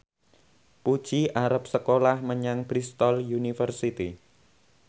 Puji arep sekolah menyang Bristol university